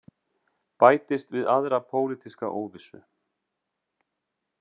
Bætist við aðra pólitíska óvissu